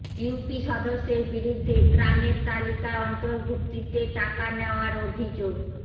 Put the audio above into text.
UP সদস্যের বিরুদ্ধে ত্রাণের তালিকায় অন্তর্ভুক্তিতে টাকা নেওয়ার অভিযোগ